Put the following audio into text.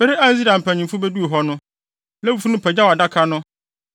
Bere a Israel mpanyimfo beduu hɔ no, Lewifo no pagyaw Adaka no